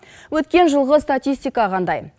өткен жылғы статистика қандай